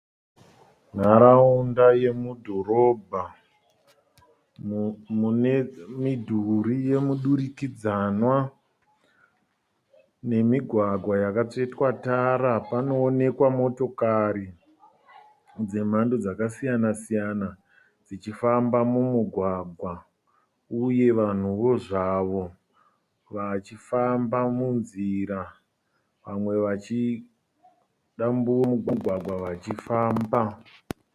Nharaunda yemudhorobha, mune midhuri yemudurikidzanwa nemigwagwa yakatsvetwa tara. Panoonekwa motokari dzemhando dzakasiyana siyana dzichifamba mumugwagwa uye vanhuwo zvavo vachifamba munzira, vamwe vachidambura mugwagwa vachifamba.